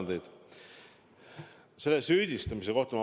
Natuke veel sellest süüdistamisest.